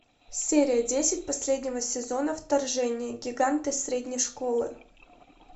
серия десять последнего сезона вторжение гиганты средней школы